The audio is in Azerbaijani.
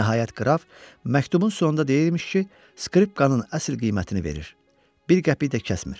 Nəhayət qraf məktubun sonunda deyirmiş ki, skripkanın əsli qiymətini verir, bir qəpik də kəsmir.